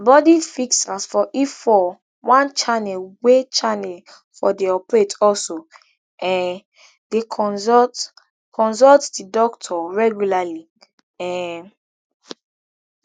body fixers for efour one channel wey channel four dey operate also um dey consult consult di doctor regularly um